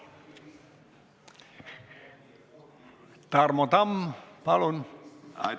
Tarmo Tamm, palun!